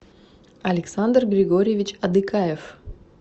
александр григорьевич адыкаев